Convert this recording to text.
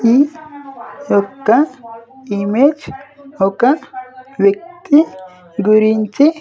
ఈ యొక్క ఇమేజ్ ఒక వ్యక్తి గురించి.